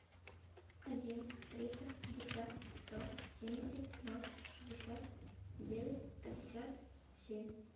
один триста пятьдесят сто семьдесят ноль шестьдесят девять пятьдесят семь